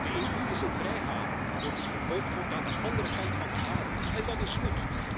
De EU is een vrijhaven voor wie vervolgd wordt aan de andere kant van de aarde en dat is goed.